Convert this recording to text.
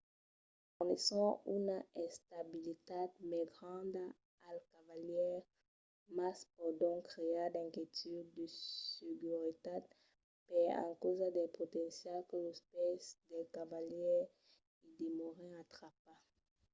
fornisson una estabilitat mai granda al cavalièr mas pòdon crear d'inquietuds de seguretat per encausa del potencial que los pès del cavalièr i demòren atrapats